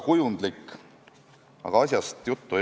Eks meil ole nüüd ilus vanasõna: "Kus viga näed laita, seal tule ja paita.